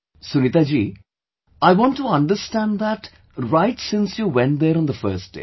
Sunita ji, I want to understand that right since you went there on the first day